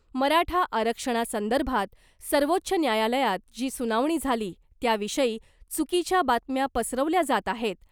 मराठा आरक्षणासंदर्भात सर्वोच्च न्यायालयात जी सुनावणी झाली त्याविषयी चुकीच्या बातम्या पसरवल्या जात आहेत,